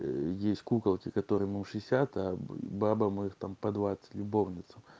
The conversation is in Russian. ээ есть куколки которому шестьдесят а бабам их там по двадцать любовницам